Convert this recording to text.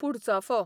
पुडचाफो